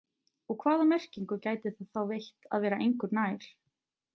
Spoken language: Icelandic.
Og hvaða merkingu gæti það þá veitt að vera engu nær?